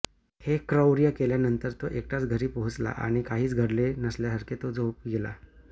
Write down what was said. हे क्रौर्य केल्यानंतर तो एकटाच घरी पोहोचला आणि काहीच घडले नसल्यासारखे तो झोपी गेला